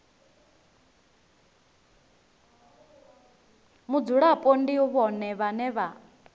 mudzulapo ndi vhone vhane vha